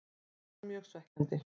Það var mjög svekkjandi.